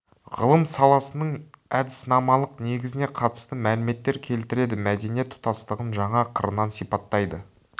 ғылым саласының әдіснамалық негізіне қатысты мәліметтер келтіреді мәдениет тұтастығын жаңа қырынан сипаттайды